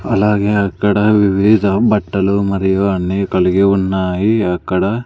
అలాగే అక్కడ వివిధ బట్టలు మరియు అన్నీ కలిగి ఉన్నాయి అక్కడ.